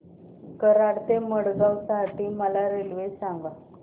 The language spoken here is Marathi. कराड ते मडगाव साठी मला रेल्वे सांगा